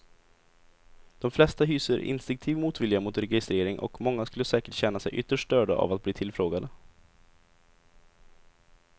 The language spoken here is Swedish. De flesta hyser instinktiv motvilja mot registrering och många skulle säkert känna sig ytterst störda av att bli tillfrågade.